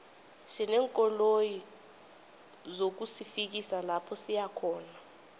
sineenkoloyi zokusifikisa lapha siyakhona